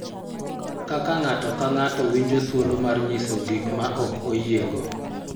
Kaka ng�ato ka ng�ato winjo thuolo mar nyiso gik ma ok oyiego